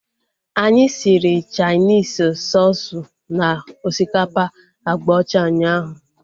Anyị siri Chainis soosu na osikapa agba ọcha ụnyaahụ